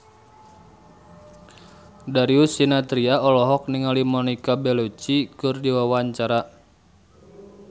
Darius Sinathrya olohok ningali Monica Belluci keur diwawancara